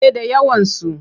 Eh da yawansu.